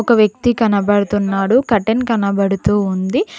ఒక వ్యక్తి కనబడుతున్నాడు కటన్ కనబడుతూ ఉంది.